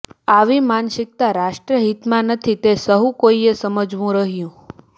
આવી માનસિક્તા રાષ્ટ્રહિતમાં નથી તે સહુ કોઇએ સમજવું રહ્યું